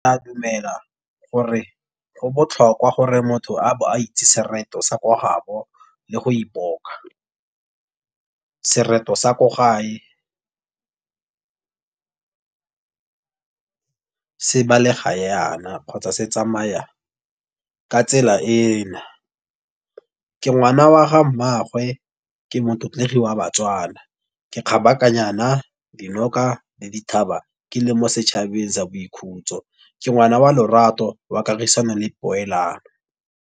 A dumela gore go botlhokwa gore motho a bo a itse sereto sa ko gaabo le go ipoka. Sereto sa ko gae se balega yana, kgotsa se tsamaya ka tsela e na. Ke ngwana wa ga mmaagwe, ke motlotlegi wa baTswana, ke kgabakanyana dinoka le dithaba, ke le mo setšhabeng sa boikhutso, ke ngwana wa lorato wa kagisano, le poelano.